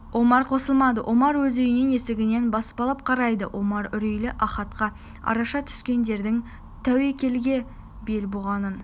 омар қосылмады омар өз үйінің есігінен баспалап қарайды омар үрейлі ахатқа араша түскендердің тәуекелге бел буғанын